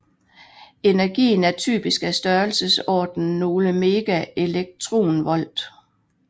Energien er typisk af størrelsesorden nogle megaelektronvolt